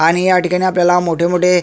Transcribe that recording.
आणि ह्या ठिकाणी आपल्याला मोठे मोठे--